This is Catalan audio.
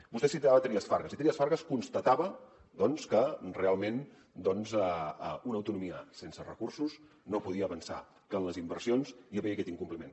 vostè citava trias fargas i trias fargas constatava doncs que realment una autonomia sense recursos no podia avançar que en les inversions hi havia aquest incompliment